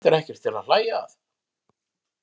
Þetta er ekkert til að hlæja að!